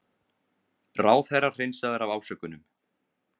Ráðherra hreinsaður af ásökunum